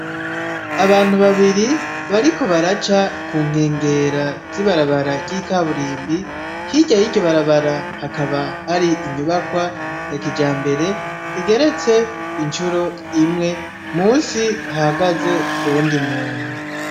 Abantu babiri bariko baraca kunkengera zibarabara ry'ikaburimbi hirya yiryo barabara hakaba hari inyubakwa ya kija mbere igeretse incuro imwe musi hagaze uwundi muntu.